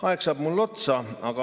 Aeg saab mul otsa.